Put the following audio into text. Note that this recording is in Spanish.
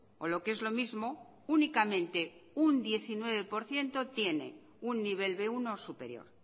o lo que es lo mismo únicamente un diecinueve por ciento tiene un nivel be uno superior